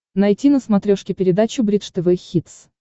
найти на смотрешке передачу бридж тв хитс